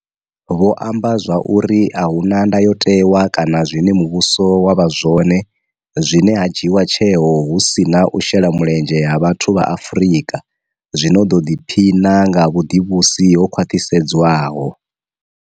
Vho amba zwa uri a hu na ndayotewa kana zwine muvhuso wa vha zwone zwine ha dzhiiwa tsheo hu si na u shela mulenzhe ha vhathu vha Afrika zwi no ḓo ḓiphina nga vhu ḓivhusi ho khwaṱhisedzwaho.